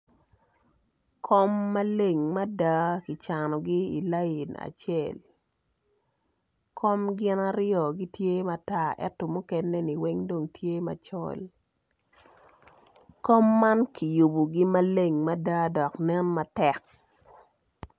Kom maleng mada kicanogi i layin acel kom gin aryo gitye matar dok mukene gitye ma tar kom man kiyubogi maleng mada dok ginen matek.